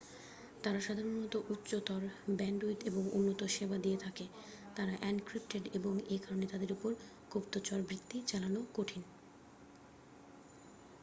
তারা সাধারণত উচ্চতর ব্যান্ডউইডথ এবং উন্নত সেবা দিয়ে থাকে তারা এনক্রিপটেড এবং এ কারণে তাদের উপর গুপ্তচরবৃত্তি চালানো কঠিন